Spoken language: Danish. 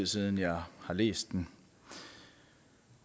siden jeg har læst den